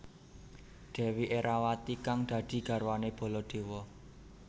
Dèwi Erawati kang dadi garwané Baladéwa